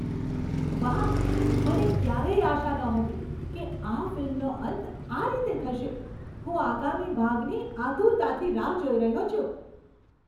વાહ, મને ક્યારેય આશા નહોતી કે આ ફિલ્મનો અંત આ રીતે થશે. હું આગામી ભાગની આતુરતાથી રાહ જોઈ રહ્યો છું.